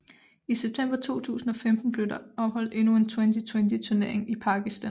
I september 2015 blev der holdt endnu en Twenty20 turnering i Pakistan